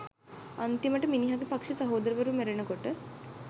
අන්තිමට මිනිහගේ පක්ෂේ සහෝදරවරු මැරෙනකොට